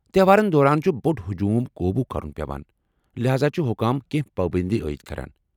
تیٚہوارن دوران چُھ بو٘ڈ ہجوٗم قوبوٗ كرُن پیوان ، لحاذا چھِ حُكام كینٛہہ پابندی عاید كران ۔